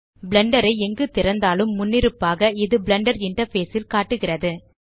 Blender ஐ எங்கு திறந்தாலும் முன்னிருப்பாக இது பிளெண்டர் இன்டர்ஃபேஸ் ல் காட்டுகிறது